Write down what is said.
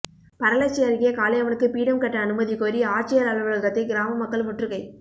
பரளச்சி அருகே காளியம்மனுக்கு பீடம் கட்ட அனுமதி கோரி ஆட்சியா் அலுவலகத்தை கிராமமக்கள் முற்றுகை